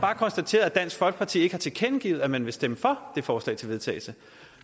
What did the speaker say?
har konstateret at dansk folkeparti ikke har tilkendegivet at man vil stemme for det forslag til vedtagelse